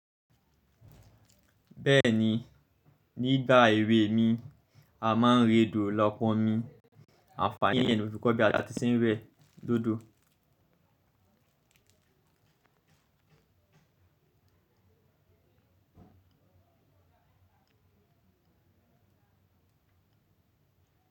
Bẹ́ẹ̀ni, nígbà èwe mi, a máa ń rẹ èdò lọ́pọ̀n mi, àfààni yẹn ni mo fi ko gba a ti ṣe ń we lodo.